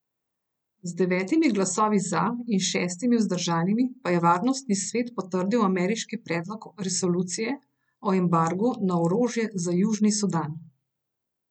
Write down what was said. Z devetimi glasovi za in šestimi vzdržanimi pa je Varnostni svet potrdil ameriški predlog resolucije o embargu na orožje za Južni Sudan.